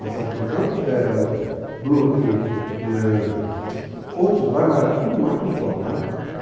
Passava pelo Campo Belo, Brooklyn, é, outros bairros, mas era tudo mato só, tá?